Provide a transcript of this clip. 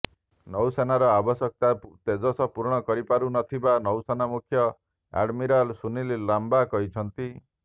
ନୌସେନାର ଆବଶ୍ୟକତା ତେଜସ ପୂରଣ କରିପାରୁନଥିବା ନୌସେନା ମୁଖ୍ୟ ଏଡମିରଲ ସୁନୀଲ ଲାମ୍ବା କହିଛନ୍ତି